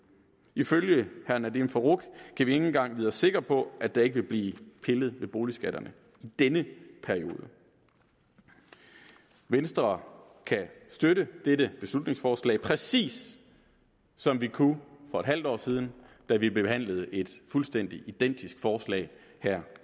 ifølge herre nadeem farooq kan vi ikke engang vide os sikre på at der ikke vil blive pillet ved boligskatterne i denne periode venstre kan støtte dette beslutningsforslag præcis som vi kunne for et halvt år siden da vi behandlede et fuldstændig identisk forslag her